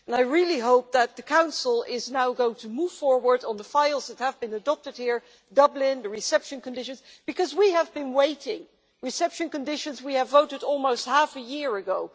I really hope that the Council is now going to move forward on the files that have been adopted here Dublin, the reception conditions because we have been waiting. We voted on reception conditions almost half a year ago.